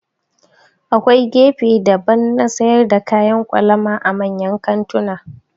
Akwai gefe daban na sayar da kayan kwalama a manyan kantuna